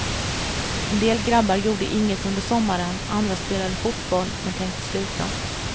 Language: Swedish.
En del grabbar gjorde inget under sommaren, andra spelade fotboll men tänkte sluta.